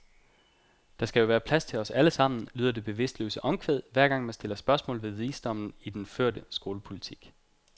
Der skal jo være plads til os alle sammen, lyder det bevidstløse omkvæd, hver gang man stiller spørgsmål ved visdommen i den førte skolepolitik.